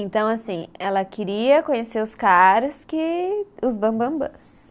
Então, assim, ela queria conhecer os caras que, os bambambãs.